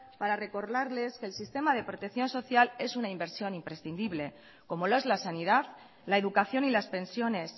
para recordarles que el sistema de protección social es una inversión imprescindible como lo es la sanidad la educación y las pensiones